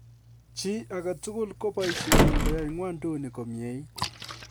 Chi agetugul ko boisyenyin koyai ng'wonduni komnyeit.